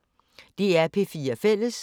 DR P4 Fælles